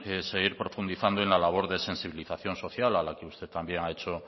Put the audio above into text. seguir profundizando en la labor de sensibilización social a la que usted también ha hecho